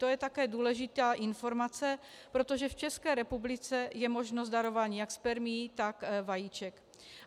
To je také důležitá informace, protože v České republice je možnost darování jak spermií, tak vajíček.